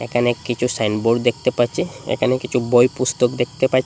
অনেককিছু সাইনবোর্ড দেখতে পাচ্চি এখানে কিছু বই পুস্তক দেখতে পাচ্চি ।